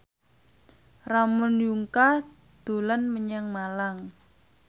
Ramon Yungka dolan menyang Malang